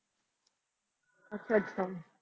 ਅੱਛਾ ਅੱਛਾ।